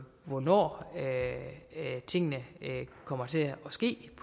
hvornår tingene kommer til at ske